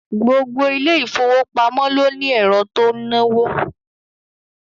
Gbogbo ilé ìfowópamọ́ ló ní ẹ̀rọ tó ń náwó